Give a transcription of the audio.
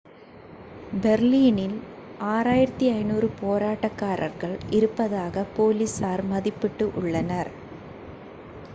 பெர்லினில் 6500 போராட்டகாரர்கள் இருப்பதாக போலீசார் மதிப்பிட்டு உள்ளனர்